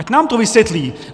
Ať nám to vysvětlí.